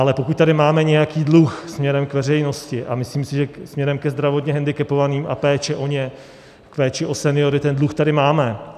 Ale pokud tady máme nějaký dluh směrem k veřejnosti, a myslím si, že směrem ke zdravotně hendikepovaným a péči o ně, péči o seniory ten dluh tady máme.